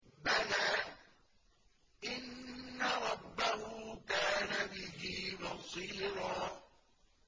بَلَىٰ إِنَّ رَبَّهُ كَانَ بِهِ بَصِيرًا